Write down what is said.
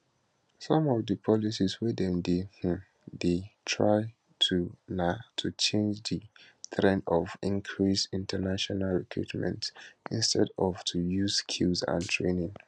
some of di policies wey dem um dey try do na to change di trend of increased international recruitment instead of to use skills and training